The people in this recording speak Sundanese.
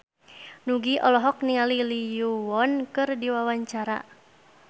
Nugie olohok ningali Lee Yo Won keur diwawancara